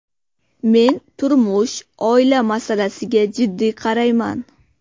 Men turmush, oila masalasiga jiddiy qarayman.